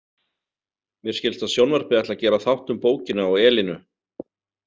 Mér skilst að sjónvarpið ætli að gera þátt um bókina og Elínu.